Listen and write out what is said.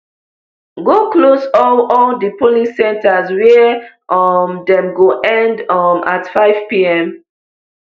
go close all all di polling centres wia um dem go end um at fivepm